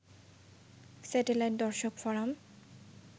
satellite দর্শকফোরাম